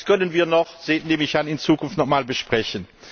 Das können wir so nehme ich an in Zukunft nochmal besprechen.